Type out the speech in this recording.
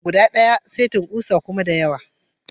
Kusa guda daya, setin kusa kuma da yawa.